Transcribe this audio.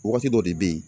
Wagati dɔ de bɛ yen